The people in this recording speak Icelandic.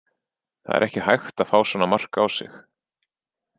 Það er ekki hægt að fá svona mark á sig.